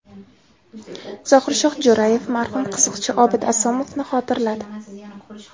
Zohirshoh Jo‘rayev marhum qiziqchi Obid Asomovni xotirladi.